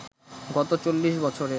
গত চল্লিশ বছরে